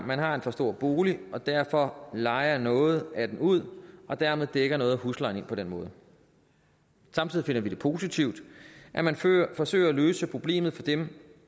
man har en for stor bolig og derfor lejer noget af den ud og dermed dækker noget af huslejen ind på den måde samtidig finder vi det positivt at man forsøger at løse problemet for dem